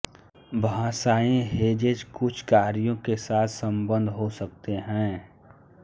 भाषाई हेजेज कुछ कार्यों के साथ संबद्ध हो सकते हैं